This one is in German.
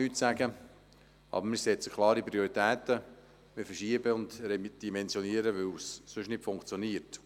Doch setzen wir klare Prioritäten, wir nehmen Verschiebungen und Redimensionierungen vor, weil es sonst nicht funktioniert.